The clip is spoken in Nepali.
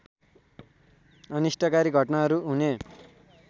अनिष्टकारी घटनाहरू हुने